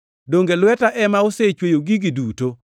Donge lweta ema osechweyo gigi duto?’ + 7:50 \+xt Isa 66:1,2\+xt*